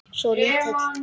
Svo lítill.